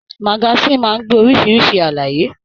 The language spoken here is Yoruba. Magasin máa n gbé oríṣiríṣi àlàyé.